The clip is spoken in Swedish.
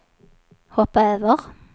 hoppa över